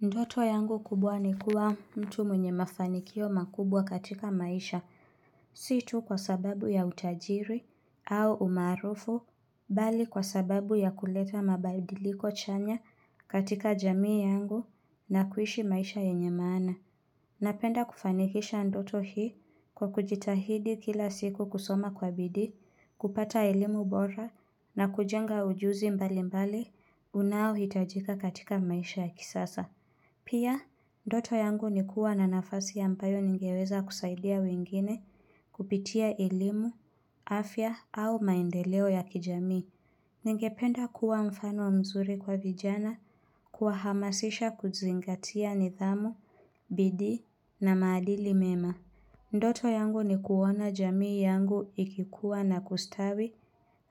Ndoto yangu kubwa nikuwa mtu mwenye mafanikio makubwa katika maisha. Si tu kwa sababu ya utajiri au umaarufu, bali kwa sababu ya kuleta mabadiliko chanya katika jamii yangu na kuishi maisha yenye maana. Napenda kufanikisha ndoto hii kwa kujitahidi kila siku, kusoma kwa bidi, kupata elimu bora na kujenga ujuzi mbali mbali unaohitajika katika maisha ya kisasa. Pia, ndoto yangu ni kuwa na nafasi ya ambayo ningeweza kusaidia wengine kupitia elimu, afya au maendeleo ya kijamii. Ningependa kuwa mfano mzuri kwa vijana, kuwahamasisha kuzingatia nidhamu, bidii na maadili mema. Ndoto yangu nikuona jamii yangu ikikuwa na kustawi,